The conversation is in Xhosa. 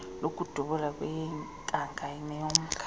lokudubula kweyenkanga neyomnga